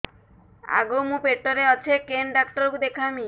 ଆଗୋ ମୁଁ ପେଟରେ ଅଛେ କେନ୍ ଡାକ୍ତର କୁ ଦେଖାମି